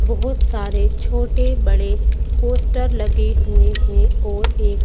बहुत सारे छोटे बड़े पोस्टर लगे हुए हैं और एक--